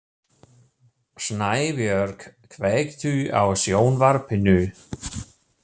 Snæbjörg, kveiktu á sjónvarpinu.